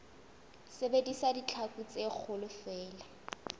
sebedisa ditlhaku tse kgolo feela